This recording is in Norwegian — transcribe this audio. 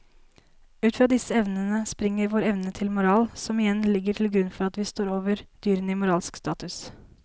Ut fra disse evnene springer vår evne til moral som igjen ligger til grunn for at vi står over dyrene i moralsk status.